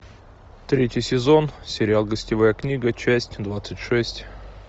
третий сезон сериал гостевая книга часть двадцать шесть